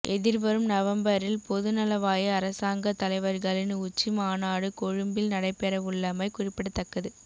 எதிர்வரும் நவம்பரில் பொதுநலவாய அரசாங்கத் தலைவர்களின் உச்சி மாநாடு கொழும்பில் நடைபெறவுள்ளமை குறிப்பிடத்தக்கது